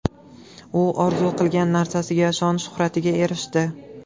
U orzu qilgan narsasiga – shon-shuhratga erishdi.